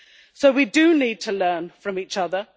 So we do need to learn from each other.